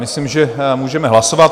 Myslím, že můžeme hlasovat.